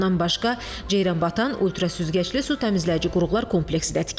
Bundan başqa Ceyranbatan ultrasüzgəcli su təmizləyici qurğular kompleksi də tikilib.